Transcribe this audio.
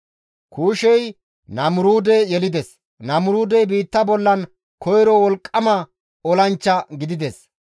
Kuushey Namuruude yelides; Namuruudey biitta bollan koyro wolqqama olanchcha gidides;